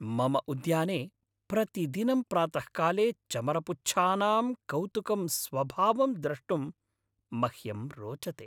मम उद्याने प्रतिदिनं प्रातःकाले चमरपुच्छानां कौतुकं स्वभावं द्रष्टुं मह्यं रोचते।